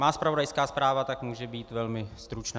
Má zpravodajská zpráva tak může být velmi stručná.